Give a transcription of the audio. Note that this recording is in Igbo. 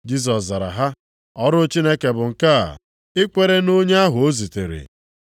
Jisọs zara sị ha, “Ọrụ Chineke bụ nke a, ikwere nʼonye ahụ o zitere.”